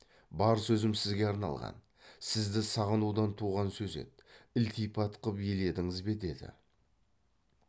бар сөзім сізге арналған сізді сағынудан туған сөз еді ілтипат қып еледіңіз бе деді